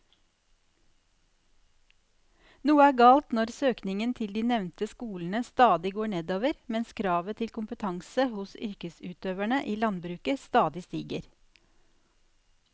Noe er galt når søkningen til de nevnte skolene stadig går nedover mens kravet til kompetanse hos yrkesutøverne i landbruket stadig stiger.